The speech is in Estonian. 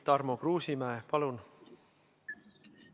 Tarmo Kruusimäe, palun!